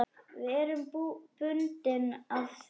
Við erum bundin af því.